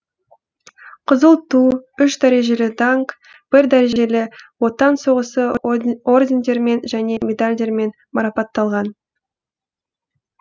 қызыл ту үш дәрежелі даңқ бірінші дәрежелі отан соғысы ордендерімен және медальдармен марапатталған